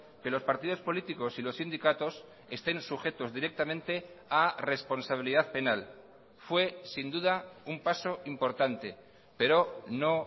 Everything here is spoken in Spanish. que los partidos políticos y los sindicatos estén sujetos directamente a responsabilidad penal fue sin duda un paso importante pero no